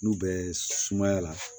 N'u bɛ sumaya la